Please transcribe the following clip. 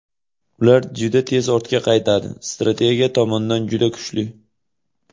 Ular juda tez ortga qaytadi, strategiya tomondan juda kuchli.